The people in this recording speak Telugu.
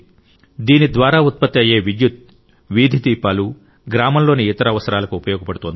దీని ద్వారా ఉత్పత్తి అయ్యే విద్యుత్తు వీధిలైట్లు గ్రామంలోని ఇతర అవసరాలకు ఉపయోగపడుతోంది